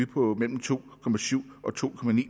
på mellem to og to